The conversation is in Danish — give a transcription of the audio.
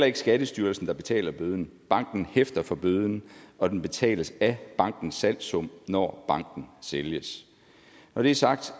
ikke skattestyrelsen der betaler bøden banken hæfter for bøden og den betales af bankens salgssum når banken sælges når det er sagt